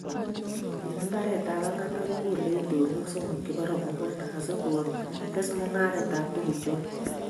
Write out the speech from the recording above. eng mbarekab Agatha, kokolei itonwek somok chebo robwoniek asikotes mung'aretab tukuchoto